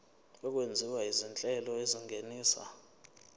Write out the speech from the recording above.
okwenziwa izinhlelo ezingenisa